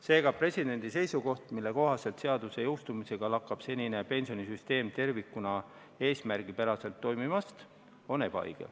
Seega, presidendi seisukoht, mille kohaselt seaduse jõustumisega lakkab senine pensionisüsteem tervikuna eesmärgipäraselt toimimast, on ebaõige.